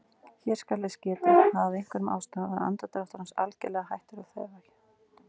Hér skal þess getið að af einhverjum ástæðum var andardráttur hans algerlega hættur að þefja.